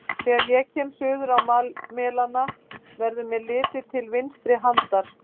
Þegar ég kem suður á Melana, verður mér litið til vinstri handar.